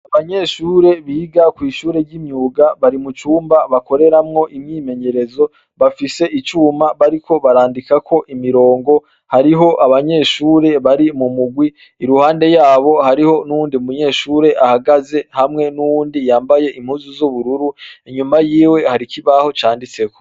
Abanyeshure biga kw'ishure ry'imyuga bari mucumba bakoreramwo imyimenyerezo, bafise icuma bariko barandikako imirongo, hariho abanyeshure bari mu mugwi iruhande yabo,, hariho n'uwundi munyeshure ahagaze, hamwe n'uwundi yambaye impuzu z'ubururu ,inyuma yiwe har'ikibaho canditseko.